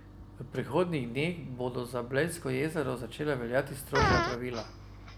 V prihodnjih dneh bodo za Blejsko jezero začela veljati strožja pravila.